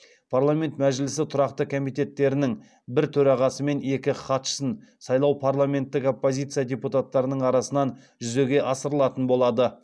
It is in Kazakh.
парламент мәжілісі тұрақты комитеттерінің бір төрағасы мен екі хатшысын сайлау парламенттік оппозиция депутаттарының арасынан жүзеге асырылатын болады